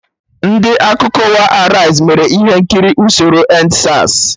Ndị Akụkọ ụwa Araiz mere ihe nkiri usoro EndSARS